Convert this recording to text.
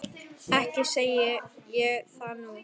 Ekki segi ég það nú.